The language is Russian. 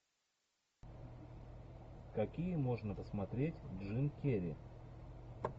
какие можно посмотреть джим керри